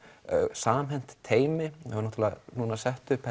samhent teymi núna sett upp